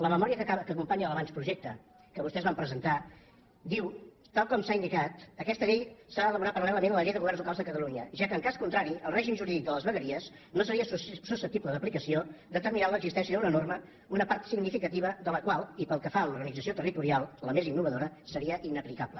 la memòria que acompanya l’avantprojecte que vostès van presentar diu tal com s’ha indicat aquesta llei s’ha d’elaborar paral·lelament a la llei de governs locals de catalunya ja que en cas contrari el règim jurídic de les vegueries no seria susceptible d’aplicació determinant l’existència d’una norma una part significativa de la qual i pel que fa a l’organització territorial la més innovadora seria inaplicable